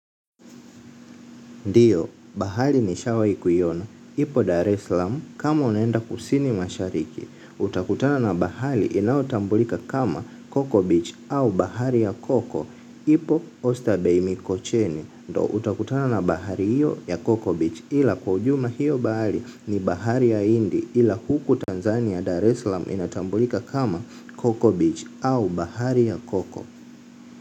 Ndiyo, bahali nishawai kuiona, ipo Dar es slam kama unaenda kusini mashariki, utakutana na bahali inaotambulika kama Coco Beach au bahari ya Coco, ipo Osta Beini Kocheni, ndio utakutana na bahari iyo ya Coco Beach ila kwa ujumla hiyo bahari ni bahari ya hindi ila huku Tanzania Dar eslam inatambulika kama Coco Beach au bahari ya Coco.